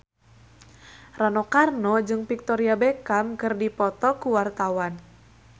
Rano Karno jeung Victoria Beckham keur dipoto ku wartawan